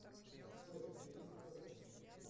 джой у тебя есть доказательства